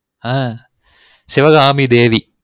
ஆ Sivagamidevi